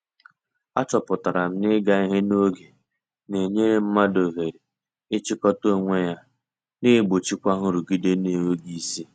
A chọpụtara m na- ịga ihe n'oge na-enyere mmadụ oghere ị chịkọta onwe ya, na egbochikwa nrụgide n'enweghị isi.